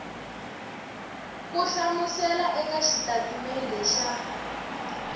ku hlamusela eka xitatimede xa